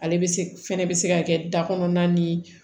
Ale bɛ se fɛnɛ bɛ se ka kɛ da kɔnɔna ni